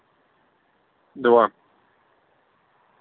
два